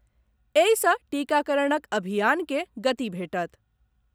एहि सॅ टीकाकरणक अभियान के गति भेटत।